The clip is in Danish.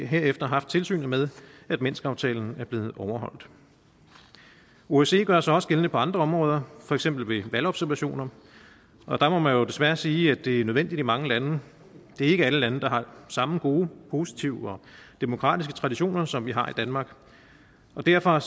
herefter haft tilsyn med at minskaftalen er blevet overholdt osce gør sig også gældende på andre områder for eksempel ved valgobservationer og der må man jo desværre sige at det er nødvendigt i mange lande det er ikke alle lande der har samme gode positive og demokratiske traditioner som vi har i danmark derfor